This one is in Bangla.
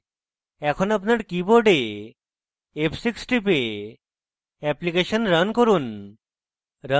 এখন আপনার keyboard f6 টিপে অ্যাপ্লিকেশন রান করুন